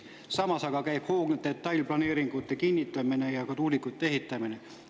Samas käib aga hoogne detailplaneeringute kinnitamine ja ka tuulikute ehitamine.